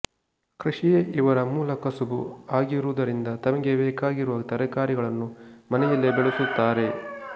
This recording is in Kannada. ಕೃಷಿಯೇ ಇವರ ಮೂಲ ಕಸುಬು ಆಗಿರುವುದರಿಂದ ತಮಗೆ ಬೇಕಾಗಿರುವ ತರಕಾರಿಗಳನ್ನು ಮನೆಯಲ್ಲೇ ಬೆಳೆಸುತ್ತಾರೆ